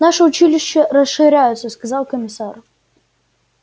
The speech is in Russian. наше училище расширяется сказал комиссар